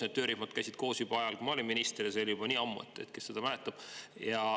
Need töörühmad käisid koos juba sel ajal, kui mina olin minister, ja see oli juba nii ammu, et kes seda enam mäletab.